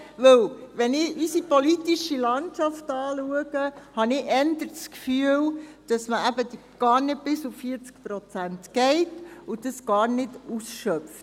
Wenn ich unsere politische Landschaft anschaue, habe ich eher das Gefühl, dass man gar nicht auf 40 Prozent geht und dies gar nicht ausschöpft.